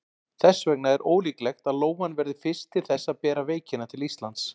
Þess vegna er ólíklegt að lóan verði fyrst til þess að bera veikina til Íslands.